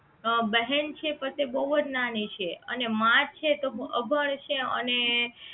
બહેન છે એ પદે બહુજ નાની છે અને માં છે તો અભણ છે અને